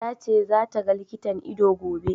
Ta ce za ta ga likitan ido, gobe.